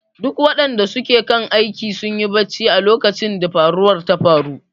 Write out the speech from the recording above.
Duk wadanda suke kan aiki sunyi barcci a lokacin da faruwan ta faru.